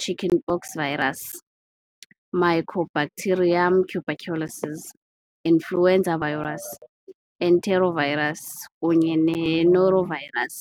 chickenpox virus, Mycobacterium tuberculosis, influenza virus, enterovirus, kunye ne-norovirus.